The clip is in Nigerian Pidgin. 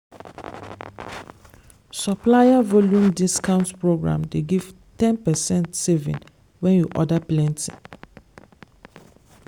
supplier volume discount program dey give ten percent saving when you order plenty.